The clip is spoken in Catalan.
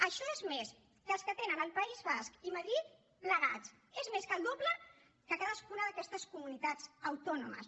això és més que els que tenen el país basc i madrid plegats és més que el doble de cadascuna d’aquestes comunitats autònomes